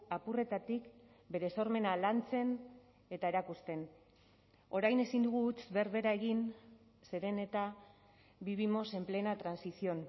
apurretatik bere sormena lantzen eta erakusten orain ezin dugu huts berbera egin zeren eta vivimos en plena transición